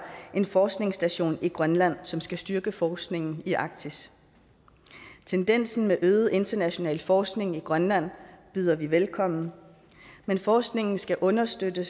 en forskningsstation i grønland som skal styrke forskningen i arktis tendensen til øget international forskning i grønland byder vi velkommen men forskningen skal understøtte